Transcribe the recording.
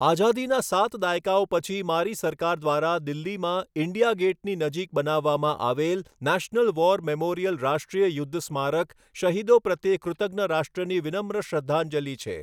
આઝાદીના સાત દાયકાઓ પછી મારી સરકાર દ્વારા દિલ્હીમાં ઇન્ડિયા ગેટની નજીક બનાવવામાં આવેલ નેશનલ વોર મેમોરીયલ રાષ્ટ્રીય યુદ્ધ સ્મારક શહીદો પ્રત્યે કૃતજ્ઞરાષ્ટ્રની વિનમ્ર શ્રદ્ધાંજલિ છે.